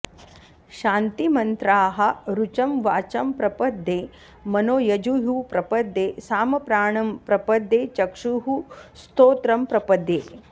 शान्तिमन्त्राः ऋचं वाचं प्रपद्ये मनो यजुः प्रपद्ये सामप्राणं प्रपद्ये चक्षुः श्रोत्रं प्रपद्ये